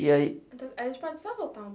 E aí... A gente pode só voltar um